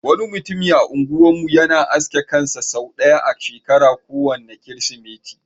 Wani mutumin a unguwar mu yana aske kansa sau ɗaya a shekara, ko wanne kirismeti.